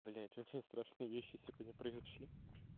блядь очень страшные вещи сегодня произошли